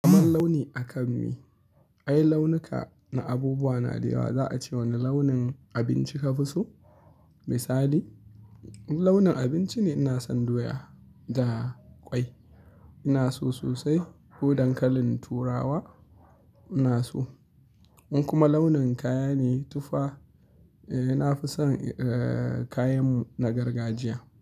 Kamar launi akan me, ai launuka na abubuwa na da yawa. Za a ce wane launin abinci ka fi so? Misali launin abinci ne ina son doya da ƙwai, ina so sosai. Ko dankalin turawa ina so. In kuma launin kaya ne tufa, eh nafi son, eh kayan mu na gargajiya.